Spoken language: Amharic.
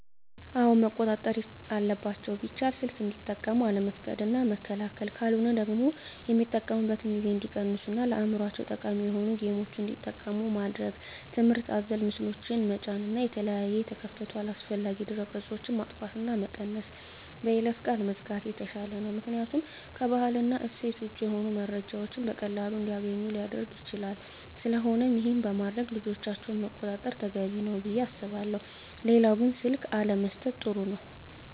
አወ መቆጣጠር አለባቸው ቢቻል ሰልክ እንዲጠቀሙ አለመፍቀድ እና መከልከል ካለሆነ ደግሞ የሚጠቀሚበትን ጊዜ እንዲቀንሡ እና ለአዕምሮቸው ጠቃሚ የሆኑ ጌምችን እንዲጠቀሙ ማድረግ ትምህርት አዘል ምስሎችን ጠጫን እና የተለያየ የተከፈቱ አላስፈላጊ ድህረ ገፆች ማጥፍት እና መቀነስ በይለፈ ቃል መዝጋት የተሻለ ነው ምክኒያቱም ከባህል እና እሴት ወጭ የሆኑ መረጃዎችን በቀላሉ እንዲገኙ ሊረግ ይችላል ስለቆነም ይሄን በማድረግ ልጆቻቸውን መቆጣጠር ተገቢ ነው። ብየ አስባለሁ ሌላው ግን ስልክ አለመሠጠት ጥሩ ነው